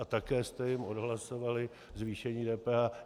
A také jste jim odhlasovali zvýšení DPH.